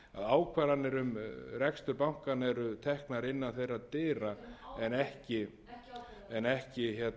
ákvarðanir um rekstur bankanna eru teknar innan þeirra dyra en ekki